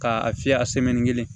K'a fiyɛ a kelen